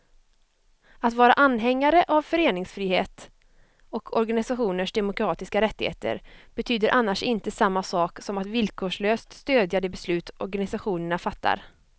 Att vara anhängare av föreningsfrihet och organisationers demokratiska rättigheter betyder annars inte samma sak som att villkorslöst stödja de beslut organisationerna fattar.